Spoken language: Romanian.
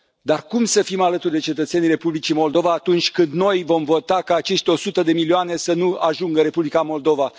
Dar cum să fim alături de cetățenii Republicii Moldova, atunci când noi vom vota ca acești 100 de milioane să nu ajungă în Republica Moldova?